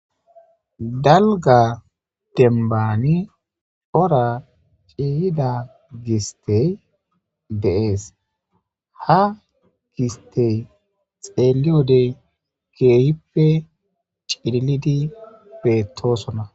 Dalga dembani c'ora c'iyida gistey de'es ha gistey xelliyode keehippe c'ililidi betosona